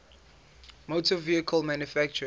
motor vehicle manufacturers